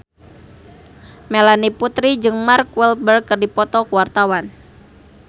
Melanie Putri jeung Mark Walberg keur dipoto ku wartawan